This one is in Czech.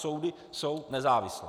Soudy jsou nezávislé.